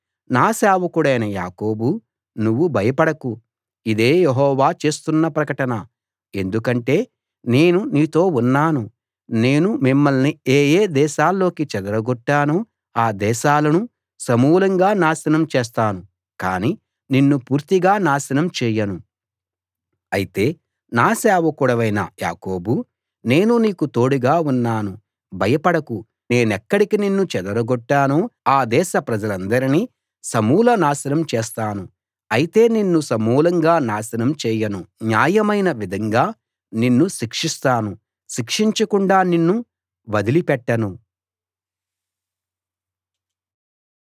నా సేవకుడైన యాకోబూ నువ్వు భయపడకు ఇదే యెహోవా చేస్తున్న ప్రకటన ఎందుకంటే నేను నీతో ఉన్నాను నేను మిమ్మల్ని ఏ ఏ దేశాల్లోకి చెదరగొట్టానో ఆ దేశాలను సమూలంగా నాశనం చేస్తాను కానీ నిన్ను పూర్తిగా నాశనం చేయను అయితే నా సేవకుడవైన యాకోబూ నేను నీకు తోడుగా ఉన్నాను భయపడకు నేనెక్కడికి నిన్ను చెదరగొట్టానో ఆ దేశప్రజలందరినీ సమూల నాశనం చేస్తాను అయితే నిన్ను సమూలంగా నాశనం చేయను న్యాయమైన విధంగా నిన్ను శిక్షిస్తాను శిక్షించకుండా నిన్ను వదిలిపెట్టను